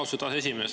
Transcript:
Austatud aseesimees!